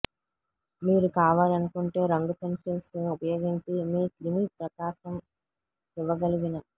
మీరు కావాలనుకుంటే రంగు పెన్సిల్స్ ఉపయోగించి మీ క్రిమి ప్రకాశం ఇవ్వగలిగిన